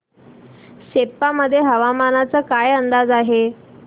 सेप्पा मध्ये हवामानाचा काय अंदाज आहे